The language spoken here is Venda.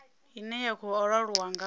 ine ya khou laulwa nga